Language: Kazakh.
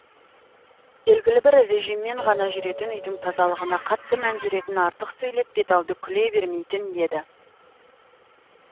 белгілі бір режиммен ғана жүретін үйдің тазалығына қатты мән беретін артық сөйлеп беталды күле бермейтін еді